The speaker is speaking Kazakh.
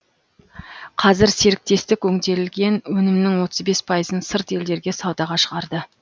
қазір серіктестік өңделген өнімнің отыз бес пайызын сырт елдерге саудаға шығарды